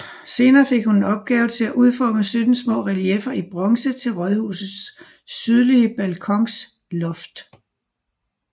Senere fik hun til opgave at udforme 17 små relieffer i bronze til rådhusets sydlige balkons loft